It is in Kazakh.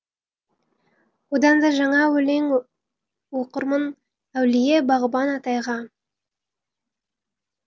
одан да жаңа өлең оқырмын әулие бағбан атайға